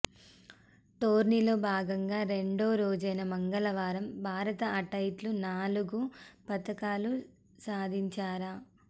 టోర్నీలో భాగంగా రెండో రోజైన మంగళవారం భారత అథ్లెట్లు నాలుగు పతకాలు సాధించార